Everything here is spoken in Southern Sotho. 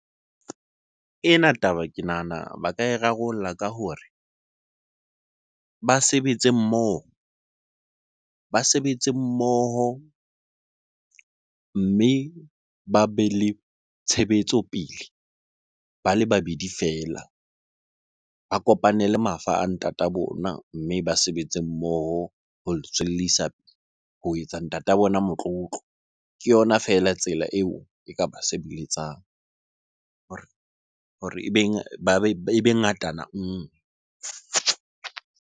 Ena taba ke nahana ba ka e rarollla ka hore ba sebetse mmoho mme ba be le tshebetso pele ba le babedi feela. Ba kopanele mafa a ntata bona, mme ba sebetse mmoho ho le tswellisa, ho etsa ntata bona motlotlo. Ke yona feela tsela eo e ka ba sebeletsang hore ebe ngatana nngwe.